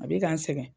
A bɛ ka n sɛgɛn